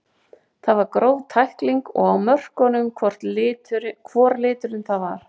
Það var gróf tækling og á mörkunum hvor liturinn það var.